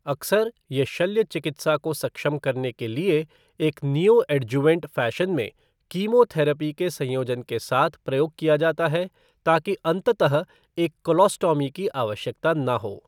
अक्सर, ये शल्य चिकित्सा को सक्षम करने के लिए एक नियोएडजुवेंट फ़ैशन में कीमोथेरेपी के संयोजन के साथ प्रयोग किया जाता है, ताकि अंततः एक कोलोस्टॉमी की आवश्यकता ना हो।